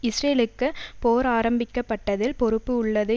இஸ்ரேலுக்கு போர் ஆரம்பிக்கப்பட்டதில் பொறுப்பு உள்ளது